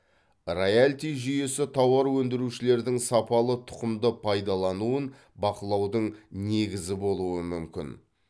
раялти жүйесі тауар өндірушілердің сапалы тұқымды пайдалануын бақылаудың негізі болуы мүмкін